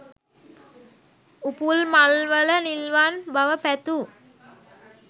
උපුල් මල් වල නිල්වන් බව පැතූ